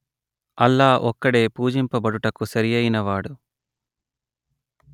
అల్లా ఒక్కడే పూజింపబడుటకు సరియైనవాడు